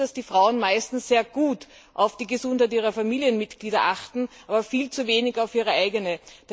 Wir wissen, dass Frauen meistens sehr gut auf die Gesundheit ihrer Familienmitglieder achten, aber viel zu wenig auf ihre eigene.